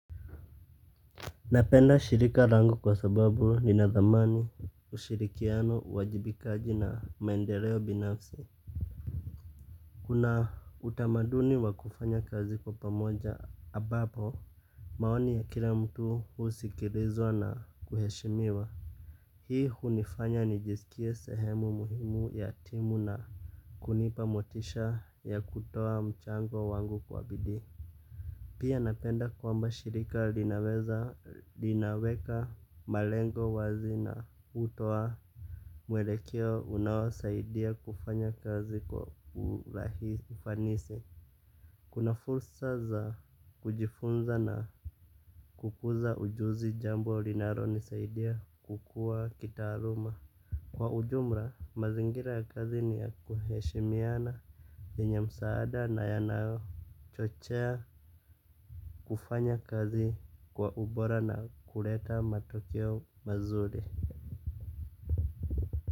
Napenda shirika langu kwa sababu ninadhamani ushirikiano wajibikaji na maendeleo binafsi. Kuna utamaduni wa kufanya kazi kwa pamoja ambapo maoni ya kila mtu husikilizwa na kuheshimiwa. Hii unifanya nijiskie sehemu muhimu ya timu na kunipa motisha ya kutoa mchango wangu kwa bidii pia napenda kwamba shirika linaweza linaweka malengo wazi na hutoa mwelekeo unaosaidia kufanya kazi kwa urahisi ufanisi. Kuna fursa za kujifunza na kukuza ujuzi jambo linaro nisaidia kukua kita aluma. Kwa ujumra mazingira ya kazi ni ya kuheshimiana yenye msaada na yanayo chochea kufanya kazi kwa ubora na kuleta matokeo mazuri.